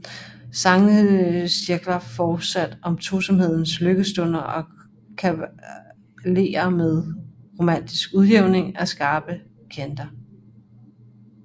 Sangene cirkler fortsat om tosomhedens lykkestunder og kvaler med romantisk udjævning af skarpe kanter